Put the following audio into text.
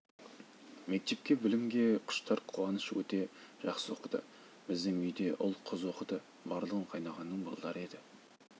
мектепте білімге құштар қуаныш өте жақсы оқыды біздің үйде ұл қыз оқыды барлығы қайнағаның балдары еді